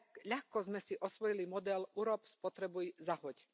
Ľahko sme si osvojili model urob, spotrebuj, zahoď.